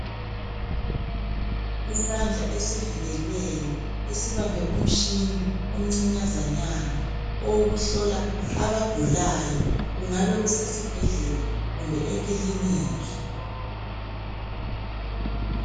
isandla esivikelweyo esibambe umtshini omncinyazanyana owokuhlola abagulayo kungabe kusesibhedlela kumbe ekiliniki